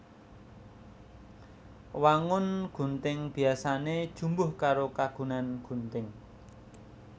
Wangun gunting biyasané jumbuh karo kagunan gunting